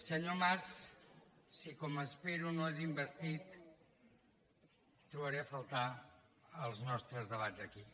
senyor mas si com espero no és investit trobaré a faltar els nostres debats aquí